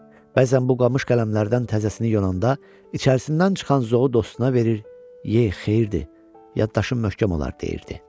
Bəzən bu qamış qələmlərdən təzəsini yonanda, içərisindən çıxan zoo dostuna verir, ye xeyirdir, yaddaşın möhkəm olar deyirdi.